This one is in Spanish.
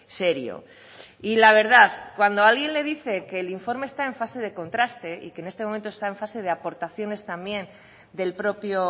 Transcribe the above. serio y la verdad cuando alguien le dice que el informe está en fase de contraste y que en este momento está en fase de aportaciones también del propio